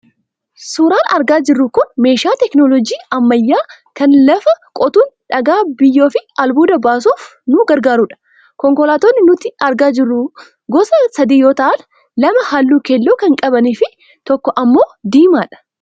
Suuraan argaa jirru kun meeshaa 'technology' ammayyaa kan lafa qotuun dhagaa, biyyoo fi albuuda baasuuf nu gargaarudha. Konkolaattonni nuti argaa jirrus gosa sadii yoo ta'an, lama halluu keelloo kan qabanii fi tokko ammoo diimaadha.